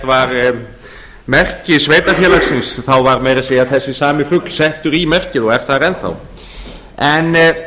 var merki sveitarfélagsins var meira að segja þessi sami fugl settur á merkið og er þar enn þá því er